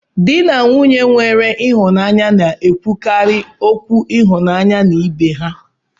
Di na nwunye nwere ịhụnanya na-ekwukarị okwu ịhụnanya na ibe ha